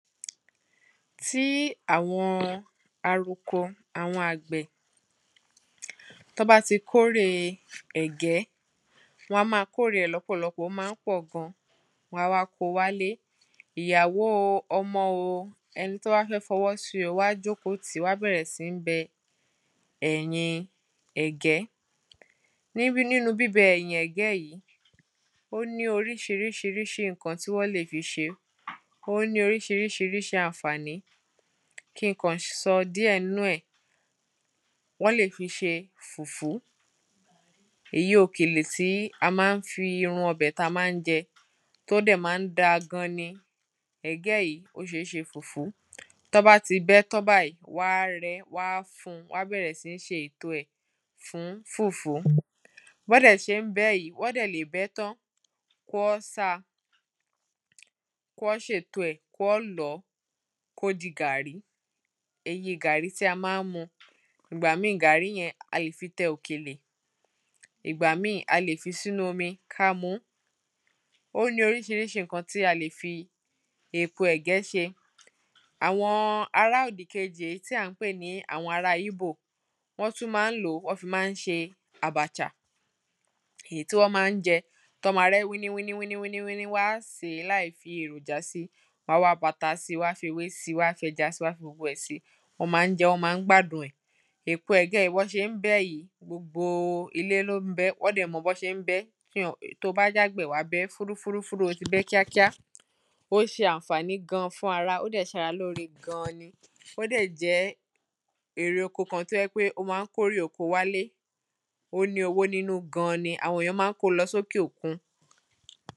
Tí àwọn aluko àwọn àgbẹ̀, tí wọ́n bá ti kórè ẹ̀gẹ́, wọ́n ma kórè rẹ̀ lọ́pọ̀lọpọ̀, ó má ń pọ̀ gan, wọ́n wá ko wálé, ìyàwó o, ọmọ o, ẹni tó bá fẹ fọwọ́ si o, wọ́n á jókòó tìí, wọ́n á bẹ̀rẹ̀ síní bẹ ẹ̀yìn ẹ̀gẹ́, nínu bíbẹ ẹ̀yìn ẹ̀gẹ́ yí, ó ní orísirísi rísi rísi, ǹkan tí wọ́n lè fi ṣe, ó ní orísi rísi rísi ànfàní, kín kàn sọ díẹ̀ nínú ẹ̀, wọ́n lè fi ṣe fùfú, èyí òkèlè tí a má ń fi irú ọbẹ̀ tí a má ń jẹ́, tí ó dẹ̀ má ń da gan ni, ẹ̀gẹ́ yi ó ṣẹ́ ṣe fùfú, tí wọ́n bá ti bẹ ẹ́ tán báyìí, wọ́n á rẹ, wọ́n á fun, wọ́n á bẹ̀rẹ̀ sí ní ṣe ètò rẹ̀ fún fùfú, bí wọ́n dẹ̀ ṣe ń bẹ ẹ́ yi, wọ́n dẹ̀ lè bẹ ẹ́ tán, kí wọ́n sa, kí wọ́n sa, kí wọ́n ṣèto ẹ̀, kí wọ́n lọ̀ọ́, kó di gàárì, ìyẹn gàárì tí a ma ń mu, ìgbà míì, gàárì yẹn, a lè fi tẹ òkèlè, ìgbà mí, a lè fi sínu omi ká muú, ó ní orísirísi ǹkan tí a lè fi èpo ẹ̀gẹ́ ṣe, àwọn ará òdìkejì, èyí tí à ń pè ní àwọn ará ígbò, wọ́n tún ma ń lòó, wọn fi má ń ṣe àbàchà, èyí tí wọ́n ma ń jẹ́, tí wọ́n ma rẹ ẹ́ wíní wíní wíní wíní, wọ́n á sè é láì fi èròjà si, wọ́n á wá bu ata si ,wọ́n á fi ewé si, wọ́n á fi ẹja si, wọ́n á fi gbogbo ẹ̀ si, wọ́n ma ń jẹ ẹ́, wọ́n ma ń gbádùn ẹ̀, èpo ẹ̀gẹ́ yí, bí wọ́n ṣe ń bẹ ẹ́ yí, gbogbo ilé ló ń bẹ ẹ́, wọ́n dẹ̀ mọ bí wọ́n ṣe ń bẹ ẹ́, to bá jẹ́ àgbẹ̀ wàá bẹ ẹ́ ,fúrú fúrú fúrú, o ti bẹ ẹ́ kíákíá ó ṣe ànfàní gan fún ara, ó dẹ̀ ń ṣe ara lóre gan ni, ó dẹ̀ jẹ́ erè oko kan tí ó jẹ́ pé ó ma ń kórè oko wálé, ó ní owó nínú gan ni, àwọn èyàn ma ń ko lọ sókè òkun.